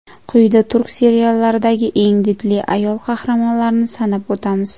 Quyida turk seriallaridagi eng didli ayol qahramonlarni sanab o‘tamiz.